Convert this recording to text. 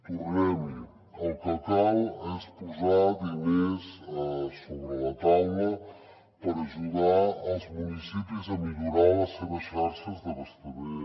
tornem hi el que cal és posar diners a sobre la taula per ajudar els municipis a millorar les seves xarxes d’abastament